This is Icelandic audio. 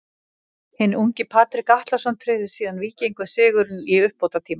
Hinn ungi Patrik Atlason tryggði síðan Víkingum sigurinn í uppbótartíma.